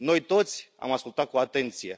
Noi, toți, am ascultat cu atenție.